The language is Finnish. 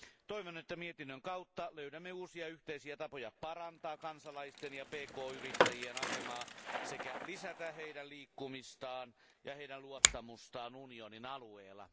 Toivon, että mietinnön kautta löydämme uusia yhteisiä tapoja parantaa kansalaisten ja pk yrittäjien asemaa sekä lisätä heidän liikkumistaan ja heidän luottamustaan unionin alueella.